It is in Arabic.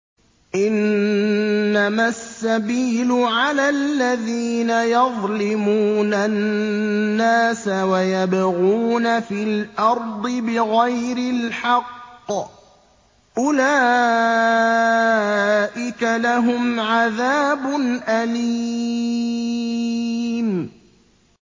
إِنَّمَا السَّبِيلُ عَلَى الَّذِينَ يَظْلِمُونَ النَّاسَ وَيَبْغُونَ فِي الْأَرْضِ بِغَيْرِ الْحَقِّ ۚ أُولَٰئِكَ لَهُمْ عَذَابٌ أَلِيمٌ